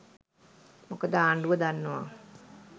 මොකද ආණ්ඩුව දන්නවා